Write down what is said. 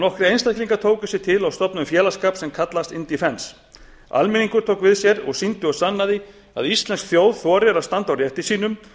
nokkrir einstaklingar tóku sig til og stofnuðu félagsskap sem kallast indefence almenningur tók við sér og sýndi og sannaði að íslensk þjóð þorir að standa á rétti sínum